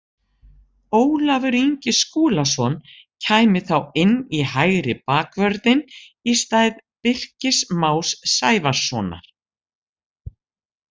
Ólafur Ingi Skúlason kæmi þá inn í hægri bakvörðinn í stað Birkis Más Sævarssonar.